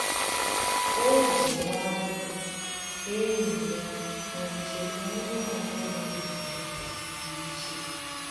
Ọ́ jì nwayọ́ọ̀ gwàá ényì ya na njem onye ọ bụla nà-émé dị̀ iche.